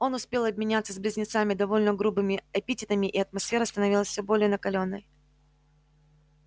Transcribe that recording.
он успел обменяться с близнецами довольно грубыми эпитетами и атмосфера становилась всё более накалённой